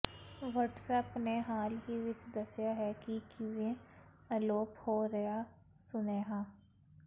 WhatsApp ਨੇ ਹਾਲ ਹੀ ਵਿੱਚ ਦੱਸਿਆ ਹੈ ਕਿ ਕਿਵੇਂ ਅਲੋਪ ਹੋ ਰਿਹਾ ਸੁਨੇਹਾ